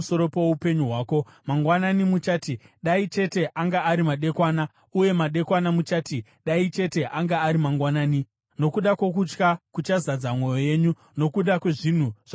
Mangwanani muchati, “Dai chete anga ari madekwana!” uye madekwana muchati, “Dai chete anga ari mangwanani!”—nokuda kwokutya kuchazadza mwoyo yenyu nokuda kwezvinhu zvamuchaona nameso enyu.